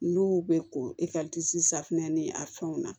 N'u bɛ ko safunɛ ni a fɛnw na